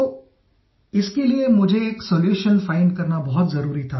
तो इसके लिए मुझे एक सोल्यूशन फाइंड करना बहुत ज़रूरी था